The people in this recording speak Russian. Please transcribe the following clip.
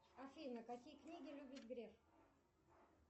афина какие книги любит греф